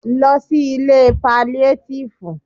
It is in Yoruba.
Lọ sí ilé paliatifu!